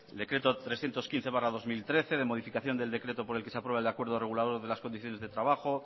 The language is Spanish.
decreto trescientos quince barra dos mil trece de modificación del decreto por el que se aprueba el acuerdo regulador de las condiciones de trabajo